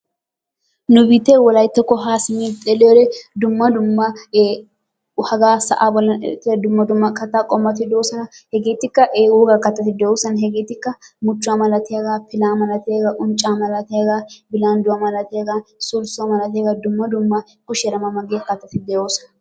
Nu biittee wolayttakko haa simmi xeelliyore dumma dumma ee hagaa sa'aa bollan beettiya dumma dumma kattaa qommoti de'oosona. Hegeetikka ee wogaa kattati de'oosona. Heegeetikka muchchuwa malatiyagaa, pilaa malatiyagaa, unccaa malatiyagaa, bilandduwa malatiyagaa, sulssuwa malatiyagaa dumma dumma kushiyara ma ma giya kattati de'oosona.